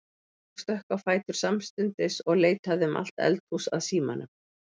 Ég stökk á fætur samstundis og leitaði um allt eldhús að símanum.